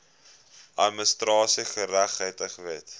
administratiewe geregtigheid wet